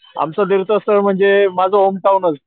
आमचं देव तस म्हणजे माझं होम टाऊनच,